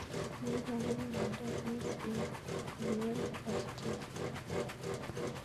Maiparukei miondop Meesmann corneal dystrophy